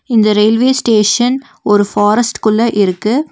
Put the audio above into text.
இந்த railway station ஒரு ஃபாரஸ்ட்குள்ள இருக்கு.